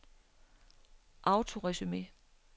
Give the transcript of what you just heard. autoresume